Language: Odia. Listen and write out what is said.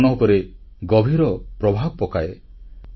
ମୋ ମନ ଉପରେ ଗଭୀର ପ୍ରଭାବ ପକାଏ